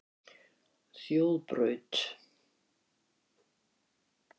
Þjóðbraut